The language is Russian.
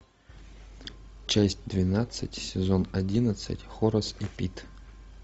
часть двенадцать сезон одиннадцать хорас и пит